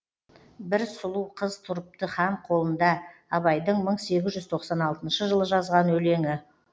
бір сұлу қыз тұрыпты хан қолында абайдың мың сегіз жүз тоқсан алтыншы жылы жазған өлеңі